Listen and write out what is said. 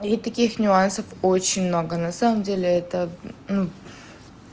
и таких нюансов очень много на самом деле это ну